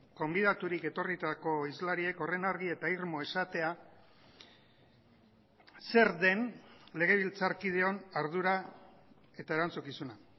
gonbidaturik etorritako hizlariek horren argi eta irmo esatea zer den legebiltzarkideon ardura eta erantzukizuna